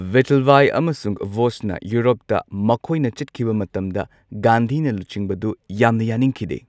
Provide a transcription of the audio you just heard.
ꯚꯤꯊꯜꯚꯥꯏ ꯑꯃꯁꯨꯡ ꯕꯣꯁꯅ ꯌꯨꯔꯣꯞꯇ ꯃꯈꯣꯏꯅ ꯆꯠꯈꯤꯕ ꯃꯇꯝꯗ ꯒꯥꯟꯙꯤꯅ ꯂꯨꯆꯤꯡꯕꯗꯨ ꯌꯥꯝꯅ ꯌꯥꯅꯤꯡꯈꯤꯗꯦ꯫